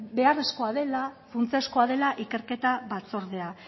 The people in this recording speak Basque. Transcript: beharrezkoa dela funtsezkoa dela ikerketa batzordea